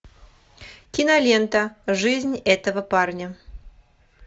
кинолента жизнь этого парня